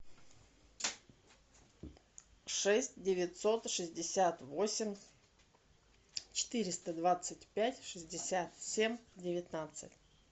шесть девятьсот шестьдесят восемь четыреста двадцать пять шестьдесят семь девятнадцать